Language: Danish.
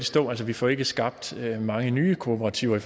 stå altså vi får ikke skabt så mange nye kooperativer i